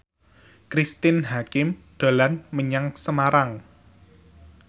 Cristine Hakim dolan menyang Semarang